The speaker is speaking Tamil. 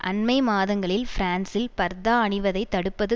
அண்மை மாதங்களில் பிரான்சில் பர்தா அணிவதை தடுப்பது